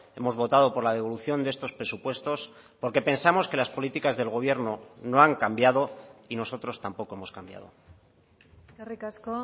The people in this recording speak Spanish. hemos votado por la devolución de estos presupuestos porque pensamos que las políticas del gobierno no han cambiado y nosotros tampoco hemos cambiado eskerrik asko